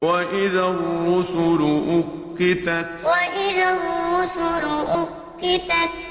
وَإِذَا الرُّسُلُ أُقِّتَتْ وَإِذَا الرُّسُلُ أُقِّتَتْ